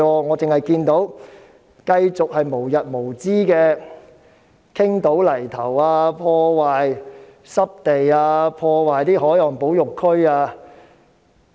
我看到的仍然是無日無之的傾倒泥頭、破壞濕地、破壞海岸保護區。